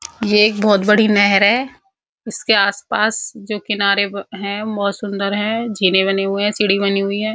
ये एक बहोत बड़ी नहर है। इसके आस-पास जो किनारे ब हैं वो बहोत सुंदर हैं। झीलें बनी हुई हैं। सीढ़ी बनी हुई है।